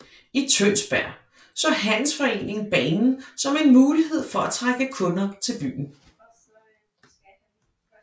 I Tønsberg så handelsforeningen banen som en mulighed for at trække kunder til byen